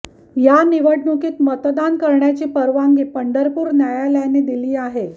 या निवडणुकीत मतदान करण्याची परवानगी पंढरपुर न्यायालयाने दिली आहे